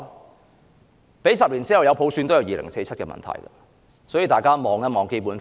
即使10年後有普選，還有2047的問題存在，所以，大家要先看看《基本法》。